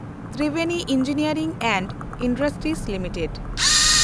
Triveni engineering and industries limited